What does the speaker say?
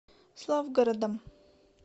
славгородом